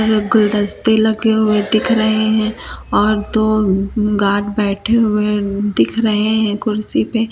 यह गुलदस्ते लगे हुए दिख रहे हैं और दो गार्ड बैठे हुए दिख रहे हैं कुर्सी पे।